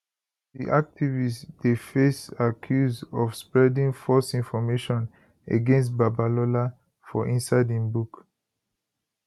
di activist dey face accuse of spreading false information against babalola for inside im book